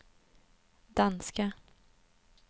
danska